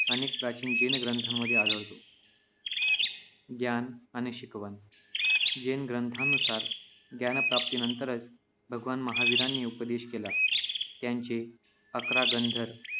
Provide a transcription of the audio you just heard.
अनेक प्राचीन जैन ग्रंथांमध्ये आढळतो. ज्ञान आणि शिकवण. जैन ग्रंथानुसार ज्ञानप्राप्तीनंतरच भगवान महावीरांनी उपदेश केला. त्यांचे अकरा गंधर